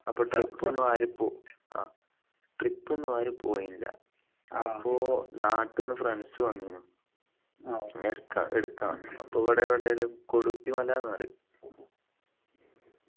അപ്പൊ trip ഒന്നും ആരും പോ ആഹ് trip ഒന്നും ആരും പോയില്ല അപ്പൊ നാട്ടിന്നു friends വന്നു എടുക്കാൻ അപ്പൊ ഇവിടെ എവിടേലും കൊടുത്തി മല ന്നു പറയും